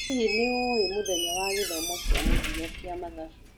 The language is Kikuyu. Hihi nĩ ũĩ mũthenya wa gĩthomo kĩa mũthia kĩa mathabu?